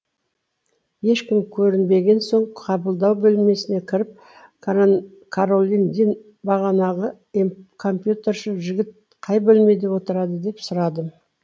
ешкім көрінбеген соң қабылдау бөлмесіне кіріп каролиндин бағанағы компьютерші жігіт қай бөлмеде отырады деп сұрадым